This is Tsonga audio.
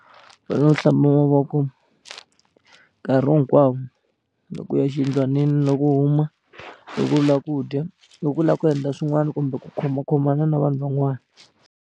u hlamba mavoko nkarhi hinkwawo loko u ya exiyindlwanini loko u huma loko u lava ku dya loko u lava ku endla swin'wana kumbe ku khomakhomana na vanhu van'wana.